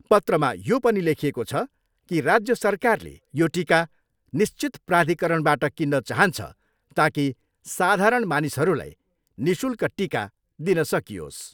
पत्रमा यो पनि लोखिएको छ की राज्य सरकारले यो टिका निश्चित प्राधिकरणबाट किन्न चाहन्छ ताकि साधारण मानिसहरूलाई निःशुल्क टिका दिन सकियोस् ।